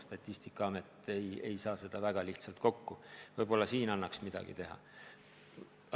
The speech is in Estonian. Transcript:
Statistikaamet ei saa seda väga lihtsalt kokku, võib-olla seal annaks midagi teha.